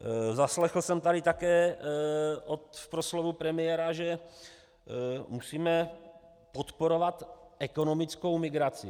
Zaslechl jsem tady také v proslovu premiéra, že musíme podporovat ekonomickou migraci.